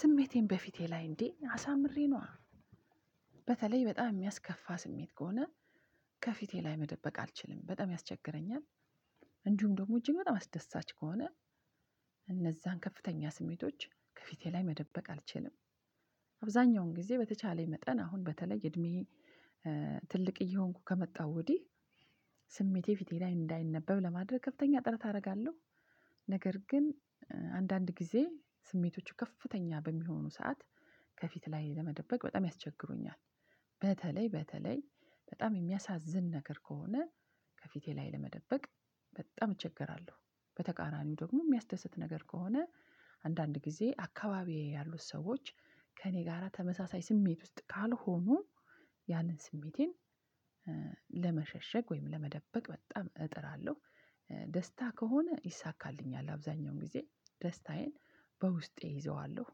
ስሜቴን በፊቴ ላይ እንዴ አሳምሬ ነዋ። በተለይ በጣም የሚያስከፋ ስሜት ከሆነ ከፊቴ ላይ መደበቅ አልችልም በጣም ያስቸግረኛል። እንዲሁም ደግሞ እጅግ በጣም አስደሳች ከሆነ እነዛን ከፍተኛ ስሜቶች ከፊቴ ላይ መደበቅ አልችልም። አብዛኛውን ጊዜ በተቻለኝ መጠን አሁን በተለይ እድሜዬ ትልቅ እየሆንኩ ከመጣሁ ወዲህ ስሜቴ ፊቴ ላይ እንዳይነበብ ለማድረግ ከፍተኛ ጥረት አደርጋለሁ። ነገር ግን አንዳንድ ጊዜ ስሜቶቹ ከፍተኛ በሚሆኑ ሰዓት ከፊት ላይ ለመደበቅ በጣም ያስቸግሩኛል። በተለይ በተለይ በጣም የሚያሳዝን ነገር ከሆነ ከፊቴ ላይ ለመደበቅ በጣም እቸገራለሁ። በተቃራኒው ደግሞ የሚያስደስት ነገር ከሆነ አንዳንድ ጊዜ አካባቢዬ ያሉት ሰዎች ከእኔ ጋራ ተመሳሳይ ስሜት ውስጥ ካልሆኑ ያንን ስሜቴን ለመሸሸግ ወይም ለመደበቅ በጣም እጥራለሁ። ደስታ ከሆነ ይሳካልኛል አብዛኛውን ጊዜ ደስታዬን በውስጤ እይዘዋለሁ።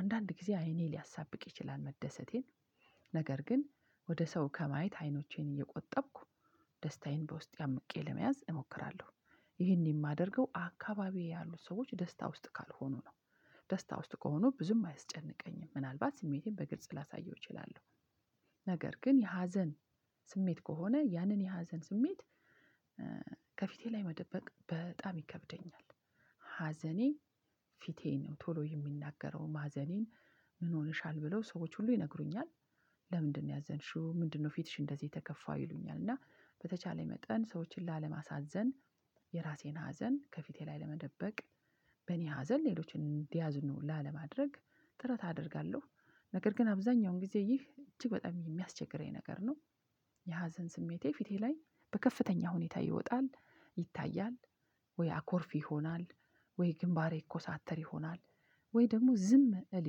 አንዳንድ ጊዜ አይኔ ሊያሳብቅ ይችላል መደሰቴን ነገር ግን ወደ ሰው ከማየት አይኖቼን እየቆጠብኩ ደስታዬን በውስጤ አምቄ ለመያዝ እሞክራለሁ። ይሄን የማደርገው አካባቢዬ ያሉት ሰዎች ደስታ ውስጥ ካልሆኑ ነው። ደስታ ውስጥ ከሆኑ ብዙም አያስጨንቀኝም ምናልባት ስሜቴን በግልጽ ላሳየው እችላለሁ። ነገር ግን የሀዘን ስሜት ከሆነ ያንን የሀዘን ስሜት ከፊቴ ላይ መደበቅ በጣም ይከብደኛል። ሀዘኔ ፊቴ ነው ቶሎ የሚናገረው ማዘኔን ምን ሆነሻል ብለው ሰዎች ሁሉ ይነግሩኛል። ለምንድነው ያዘንሽው ምንድነው ፊትሽ እንደዚህ የተከፋው ይሉኛል። እና በተቻለኝ መጠን ሰዎችን ላለማሳዘን የራሴን ሀዘን ከፊቴ ላይ ለመደበቅ በኔ ሀዘን ሌሎችን እዲያዝኑ ላለማድረግ ጥረት አደርጋለሁ። ነገር ግን አብዛኛውን ጊዜ ይህ እጅግ በጣም የሚያስቸግረኝ ነገር ነው። የሀዘን ስሜቴ ፊቴላይ በከፍተኛ ሁኔታ ይወጣል ይታያል ወይ አኮርፍ ይሆናል ወይ ግንባሬ ይኮሳተር ይሆናል ወይ ደግሞ ዝም እል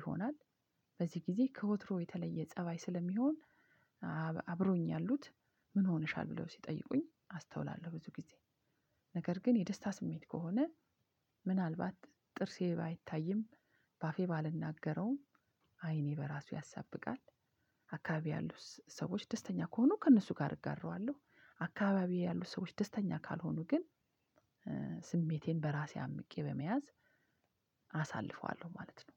ይሆናል። በዚህ ጊዜ ከወትሮ የተለየ ፀባይ ስለሚሆን አብሮኝ ያሉት ምን ሆነሻል ብለው ሲጠይቁኝ አስተውላለሁ። ብዙ ጊዜ ነገር ግን የደስታ ስሜት ከሆነ ምናልባት ትርሴ ባይታይም ባፌ ባልናገረውም አይኔ በራሱ ያሳብቃል። አካባቢየ ያሉት ሰዎች ደስተኛ ከሆኑ ከነሱ ጋር እጋራዋለሁ። አካባቢዬ ያሉት ሰዎች ደስተኛ ካልሆኑ ግን ስሜቴን በራሴ አምቄ በመያዝ አሳልፈዋለሁ ማለት ነው።